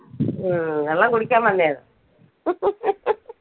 ആ വെള്ളം കുടിക്കാൻ വന്നയാ